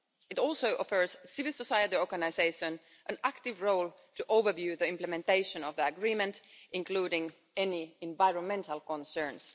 It also offers civil society organisations an active role to overview the implementation of the agreement, including any environmental concerns.